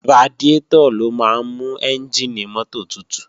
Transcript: Radiátọ̀ ló máa ń mú ẹ́njìnì mọ́tò tutù